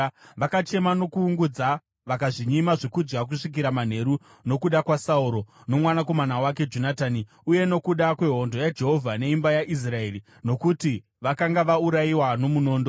Vakachema nokuungudza vakazvinyima zvokudya kusvikira manheru nokuda kwaSauro nomwanakomana wake Jonatani, uye nokuda kwehondo yaJehovha neimba yaIsraeri, nokuti vakanga vaurayiwa nomunondo.